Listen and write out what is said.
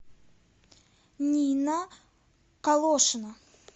нина колошина